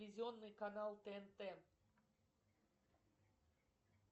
телевизионный канал тнт